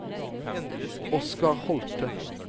Oscar Holthe